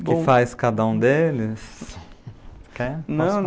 O que faz cada um deles?